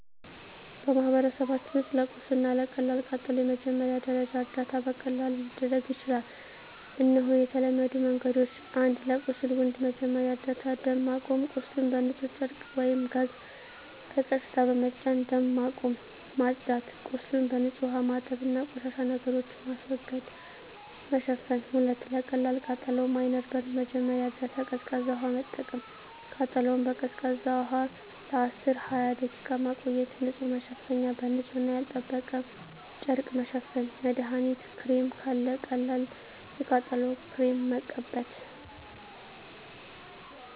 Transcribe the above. በማህበረሰባችን ውስጥ ለቁስል እና ለቀላል ቃጠሎ የመጀመሪያ ደረጃ እርዳታ በቀላሉ ሊደረግ ይችላል። እነሆ የተለመዱ መንገዶች፦ 1. ለቁስል (Wound) መጀመሪያ እርዳታ ደም ማቆም – ቁስሉን በንጹህ ጨርቅ ወይም ጋዝ በቀስታ በመጫን ደም ማቆም። ማጽዳት – ቁስሉን በንጹህ ውሃ ማጠብ እና ቆሻሻ ነገሮችን ማስወገድ። መሸፈን – 2. ለቀላል ቃጠሎ (Minor Burn) መጀመሪያ እርዳታ ቀዝቃዛ ውሃ መጠቀም – ቃጠሎውን በቀዝቃዛ ውሃ ለ10–20 ደቂቃ መቆየት። ንጹህ መሸፈኛ – በንጹህ እና ያልተጠበቀ ጨርቅ መሸፈን። መድሀኒት ክሬም – ካለ ቀላል የቃጠሎ ክሬም መቀበት።